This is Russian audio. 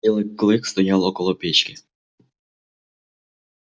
белый клык стоял около печки